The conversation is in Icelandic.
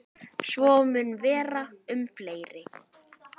Svo mun vera um fleiri.